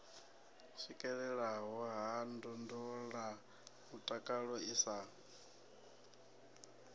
swikelelea ha ndondolamutakalo i sa